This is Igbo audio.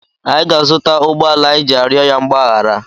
Anyị ga-azụta ụgbọala anyị ji arịọ ya mgbaghara.